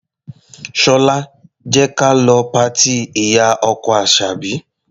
Ṣọlá, jẹ́ ka lọ patí ìyá-ọkọ Àṣàbí.